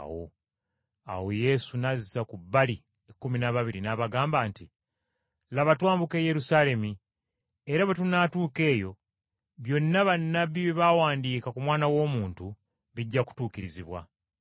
Awo Yesu n’azza ku bbali ekkumi n’ababiri, n’abagamba nti, “Laba, twambuka e Yerusaalemi, era bwe tunaatuuka eyo, byonna bannabbi bye bawandiika ku Mwana w’Omuntu, bijja kutuukirizibwa.